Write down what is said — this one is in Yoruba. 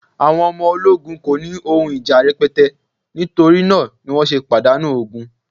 àwọn ọmọ ologun ko ni oun ija rẹpẹtẹ, nitori na ni wan se padanu ogun